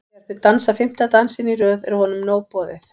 Þegar þau dansa fimmta dansinn í röð er honum nóg boðið.